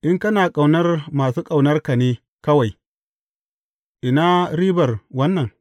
In kana ƙaunar masu ƙaunarka ne kawai, ina ribar wannan?